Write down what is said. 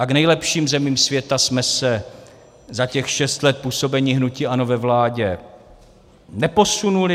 A k nejlepším zemím světa jsme se za těch šest let působení hnutí ANO ve vládě neposunuli.